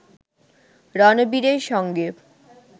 রণবীরের সঙ্গে